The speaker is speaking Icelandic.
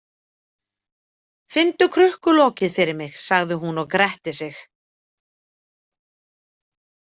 Finndu krukkulokið fyrir mig, sagði hún og gretti sig.